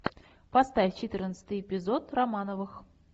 поставь четырнадцатый эпизод романовых